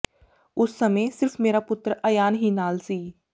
ਉਸ ਸਮੇਂ ਸਿਰਫ ਮੇਰਾ ਪੁੱਤਰ ਅਯਾਨ ਹੀ ਨਾਲ ਸੀ